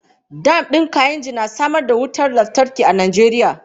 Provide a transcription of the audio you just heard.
Dam din Kainji na samar da wutar lantarki a Najeriya.